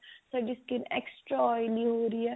ਸਾਡੀ skin extra oily ਹੋ ਰਹੀ ਹੈ